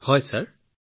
হয় ছাৰ ঠিকেই কৈছে ছাৰ